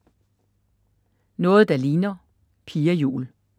Noget der ligner: Pia Juul